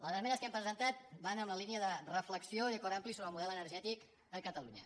les esmenes que hem presentat van en la línia de re·flexió i acord ampli sobre el model energètic a catalu·nya